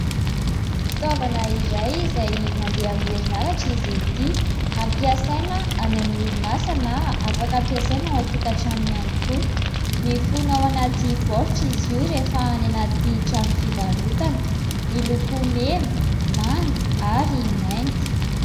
Fitaovana iray izay mandeha amin'ny herinaratra izy ity. Hampiasaina any amin'ny orinasa, na afaka hampiasaina ao an-tokantrano ihany koa. Mifono ao anaty baoritra izy io rehefa any anaty trano fivarotana. Miloko mena, manga, ary mainty.